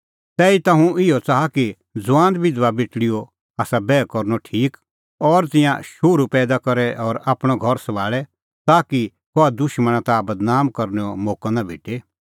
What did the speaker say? तैहीता हुंह इहअ च़ाहा कि ज़ुआन बिधबा बेटल़ीओ आसा बैह करनअ ठीक और तिंयां शोहरू पैईदा करे और आपणअ घर सभाल़े ताकि कहा दुशमणा ताह बदनाम करनैओ मोक्कअ नां भेटे